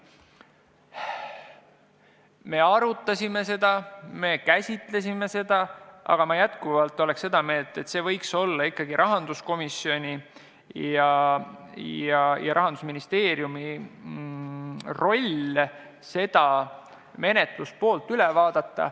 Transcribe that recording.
Me arutasime seda, me käsitlesime seda, aga ma jätkuvalt olen seda meelt, et see võiks olla ikkagi rahanduskomisjoni ja Rahandusministeeriumi roll seda üle vaadata.